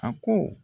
A ko